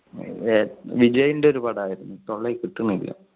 വിജയുടെ ഒരു പടം ആയിരുന്നു അത് തൊള്ളേൽ കിട്ടുന്നില്ല.